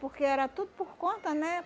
Porque era tudo por conta, né?